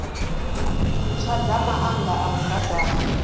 ntswa dza maanda a mudagasi